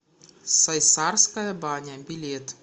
сайсарская баня билет